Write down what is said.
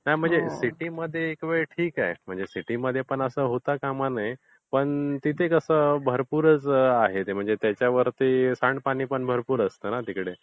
नाही म्हणजे सिटीमध्ये एक वेळ ठीक आहे. म्हणजे सिटीमध्ये पण असं होता कामा नये. पण तिथे कसं भरपूरच आहे म्हणजे त्याच्यावरती सांडपाणी भरपूर असते न तिकडे.